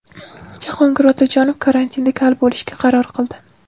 Jahongir Otajonov karantinda kal bo‘lishga qaror qildi.